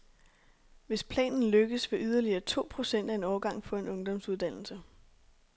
Hvis planen lykkes, vil yderligere to procent af en årgang få en ungdomsuddannelse.